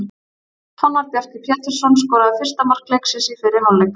Fannar Bjarki Pétursson skoraði fyrsta mark leiksins í fyrri hálfleik.